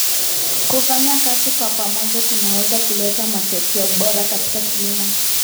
Kufanya kazi kwa pamoja kunaweza kuleta matokeo bora katika kilimo.